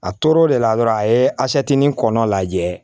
A toro o de la dɔrɔn a ye a kɔnɔ lajɛ